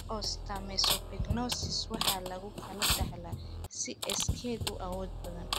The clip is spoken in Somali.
Osteomesopyknosis waxaa lagu kala dhaxlaa si iskeed u awood badan.